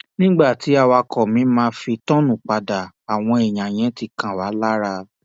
nígbà tí awakọ mi fi máa tọọnù padà àwọn èèyàn yẹn ti kan wá lára